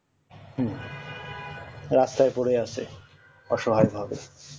হম রাস্তায় পরে আছে অসহায় মানুষ